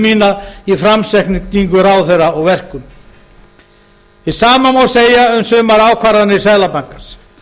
mína í framsetningu ráðherra og verkum hið sama má segja um sama ákvarðanir seðlabankans